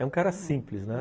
É um cara simples, né?